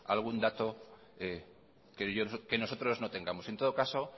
algún dato que nosotros no tengamos en todo caso